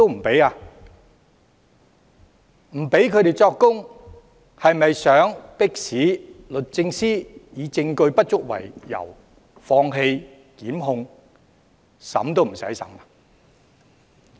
不許他們作供，是否想迫使律政司以證據不足為由放棄檢控，以致案件不用經法庭審理？